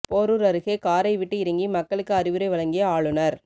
பேரூர் அருகே காரை விட்டு இறங்கி மக்களுக்கு அறிவுரை வழங்கிய ஆளுநர்